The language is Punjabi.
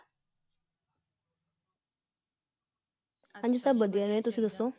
ਹਾਂਜੀ ਸਬ ਵਧੀਆ ਨੇ ਤੁਸੀ ਦੱਸੋ।